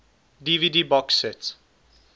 dvd box set